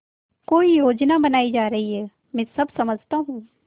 कोई योजना बनाई जा रही है मैं सब समझता हूँ